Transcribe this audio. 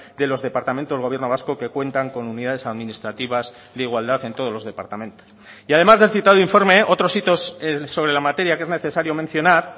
de los departamentos del gobierno vasco que cuentan con unidades administrativas de igualdad en todos los departamentos y además del citado informe otros hitos sobre la materia que es necesario mencionar